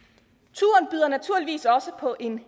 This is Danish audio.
turen byder naturligvis også på en